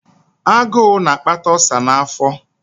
Agụụ na-akpata ulcer afọ.